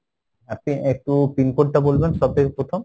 আপনি একটু pin-code টা বলবেন সবথেকে প্রথম।